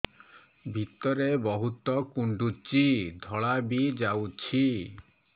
ଭିତରେ ବହୁତ କୁଣ୍ଡୁଚି ଧଳା ବି ଯାଉଛି